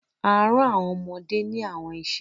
a rán àwọn ọmọdé ní àwọn iṣẹ